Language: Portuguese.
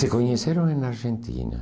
Se conheceram na Argentina.